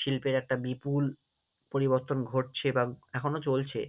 শিল্পের একটা বিপুল পরিবর্তন ঘটছে বা এখনও চলছে।